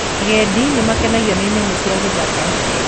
Agendi nĩmakenagio nĩ nyamũ cia githaka